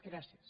gràcies